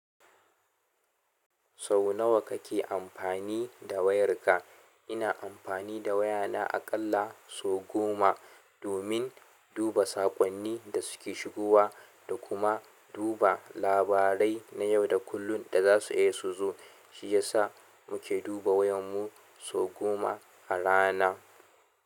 Sau nawa kake amfani da wayarka? Ina amfani da wayana aƙalla sau goma, domin duba saƙonnin da suke shigowa da kuma duba labarai na yau da kullum da za su iya suzo. Shiyasa muke duba wayar mu sau goma a rana.